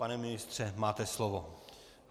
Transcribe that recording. Pane ministře, máte slovo.